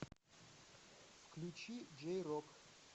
включи джей рок